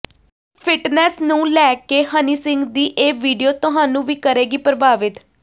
fitness ਨੂੰ ਲੈ ਕੇ ਹਨੀ ਸਿੰਘ ਦੀ ਇਹ ਵੀਡੀਓ ਤੁਹਾਨੂੰ ਵੀ ਕਰੇਗੀ ਪ੍ਰਭਾਵਿਤ